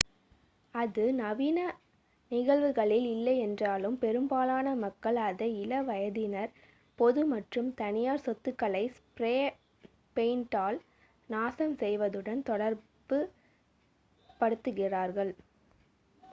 அது நவீன நிகழ்வுகளில் இல்லையென்றாலும் பெரும்பாலான மக்கள் அதை இள வயதினர் பொது மற்றும் தனியார் சொத்துக்களை ஸ்ப்ரே பெயிண்டால் நாசம் செய்வதுடன் தொடர்பு படுத்துகிறார்கள்